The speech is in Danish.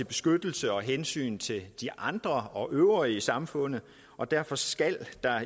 beskyttelse af og hensyn til de andre og det øvrige samfund og derfor skal der